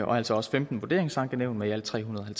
og altså også femten vurderingsankenævn med i alt tre hundrede og